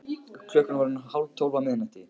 Klukkan var orðin tólf á miðnætti.